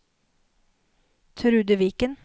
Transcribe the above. Trude Viken